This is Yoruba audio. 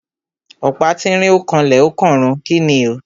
Ọ̀pá tínrín ó kanlẹ̀ ó kànrun. Kíni o?